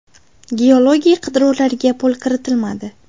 Geologik qidiruvlarga pul kiritilmadi.